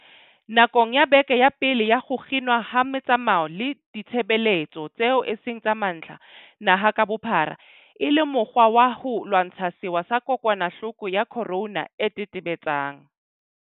Nakong ya beke ya pele ya ho kginwa ha metsamao le ditshebeletso tseo e seng tsa mantlha naha ka bophara e le mokgwa wa ho lwantsha sewa sa kokwanahloko ya corona e tetebetsang